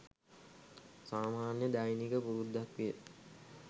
සාමාන්‍ය දෛනික පුරුද්දක් විය.